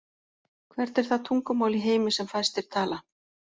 Hvert er það tungumál í heimi sem fæstir tala?